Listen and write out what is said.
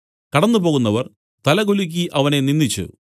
കടന്നു പോകുന്നവർ തലകുലുക്കി അവനെ നിന്ദിച്ചു